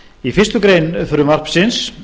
í fyrstu grein frumvarpsins